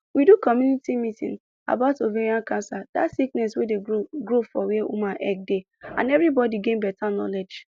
we do community meeting about ovarian cancer dat sickness wey dey grow for grow for where woman egg dey and everibodi gain beta knowledge